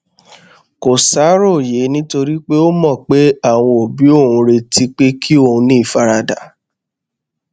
kò ṣàròyé nítorí ó mọ pé àwọn òbí òun ń retí pé kí òun ní ìfaradà